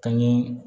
Ka ɲɛ